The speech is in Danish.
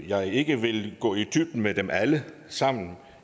jeg ikke vil gå i dybden med dem alle sammen